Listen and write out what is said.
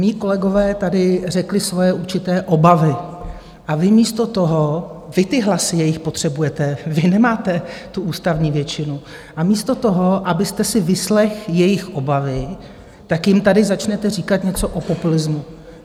Mí kolegové tady řekli svoje určité obavy a vy místo toho - vy ty hlasy jejich potřebujete, vy nemáte tu ústavní většinu - a místo toho, abyste si vyslechl jejich obavy, tak jim tady začnete říkat něco o populismu.